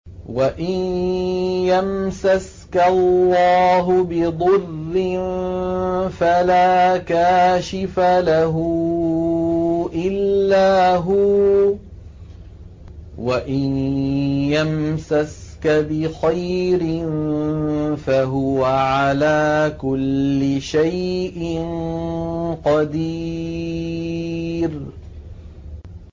وَإِن يَمْسَسْكَ اللَّهُ بِضُرٍّ فَلَا كَاشِفَ لَهُ إِلَّا هُوَ ۖ وَإِن يَمْسَسْكَ بِخَيْرٍ فَهُوَ عَلَىٰ كُلِّ شَيْءٍ قَدِيرٌ